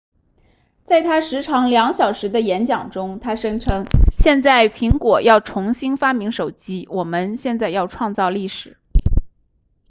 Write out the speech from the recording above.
在他时长2小时的演讲中他声称现在苹果要重新发明手机我们现在要创造历史